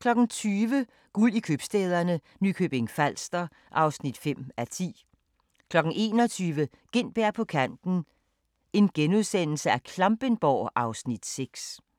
20:00: Guld i købstæderne – Nykøbing Falster (5:10) 21:00: Gintberg på kanten - Klampenborg (Afs. 6)*